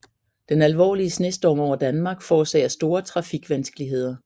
Den alvorlige snestorm over Danmark forårsager store trafikvanskeligheder